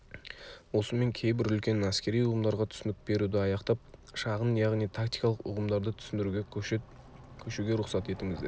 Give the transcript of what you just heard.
осымен кейбір үлкен әскери ұғымдарға түсінік беруді аяқтап шағын яғни тактикалық ұғымдарды түсіндіруге көшуге рұқсат етіңіздер